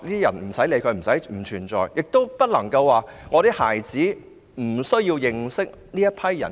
此外，家長亦不能認為孩子不需要認識這些人士。